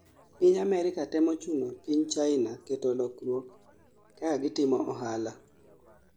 piny Amerka temo chuno piny hina keto lukruok kaka gitimo ohala